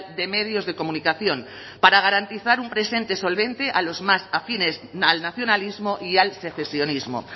de medios de comunicación para garantizar un presente solvente a los más afines al nacionalismo y al secesionismo